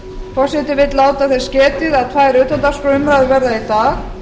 forseti vill láta þess getið að tvær utandagskrárumræður verða í dag